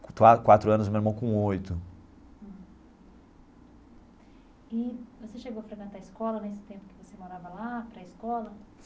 Qua quatro anos e meu irmão com oito. E você chegou a frequentar escola nesse tempo que você morava lá, pré-escola?